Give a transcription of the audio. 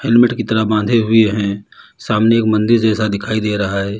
Helmet की तरह बाधे हुई हैं सामने एक मंदिर जैसा दिखाई दे रहा है।